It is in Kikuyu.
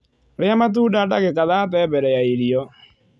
Ria matunda ndagika thate mbere ya irio